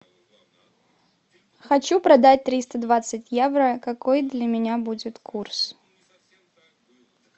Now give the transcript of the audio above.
хочу продать триста двадцать евро какой для меня будет курс